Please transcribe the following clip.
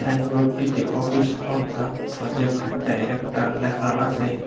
সাইনবোর্ডটিতে office of the project director লেখা আসে।